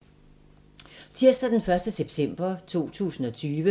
Tirsdag d. 1. september 2020